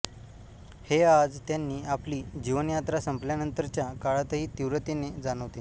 हे आज त्यांनी आपली जीवनयात्रा संपल्यानंतरच्या काळातही तीव्रतेने जाणवते